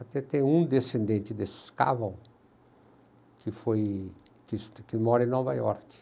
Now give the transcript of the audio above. Até tem um descendente desses caval que foi, que mora em Nova York.